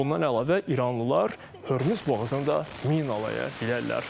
Bundan əlavə, İranlılar Hörmüz boğazında mina qoya bilərlər.